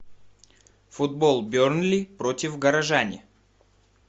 футбол бернли против горожане